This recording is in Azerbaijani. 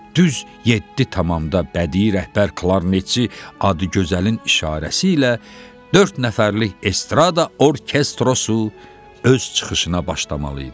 Düz yeddi tamamda bədii rəhbər klarnetçi Adıgözəlin işarəsi ilə dörd nəfərlik estrada orkestrosu öz çıxışına başlamalı idi.